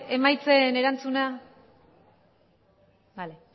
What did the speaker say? emaitzen erantzuna bale